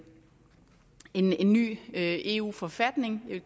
eu forfatning jeg